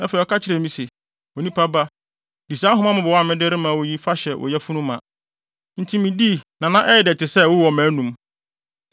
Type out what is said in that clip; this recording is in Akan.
Afei ɔka kyerɛɛ me se, “Onipa ba, di saa nhoma mmobɔwee a mede rema wo yi fa hyɛ wo yafunu ma.” Enti midii na na ɛyɛ dɛ te sɛ ɛwo wɔ mʼanom.